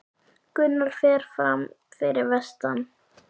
Gunnar fer fram fyrir vestan